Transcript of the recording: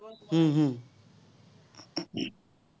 উম